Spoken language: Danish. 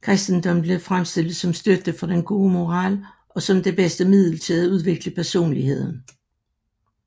Kristendommen blev fremstillet som støtte for den gode moral og som det bedste middel til at udvikle personligheden